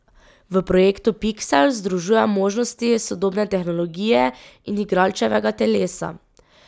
V projektu Piksel združuje možnosti sodobne tehnologije in igralčevega telesa.